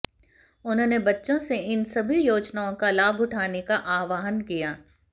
उन्होंने बच्चों से इन सभी योजनाओं का लाभ उठाने का आह्वान किया